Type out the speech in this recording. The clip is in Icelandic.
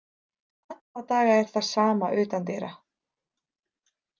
Alla daga er það sama utandyra.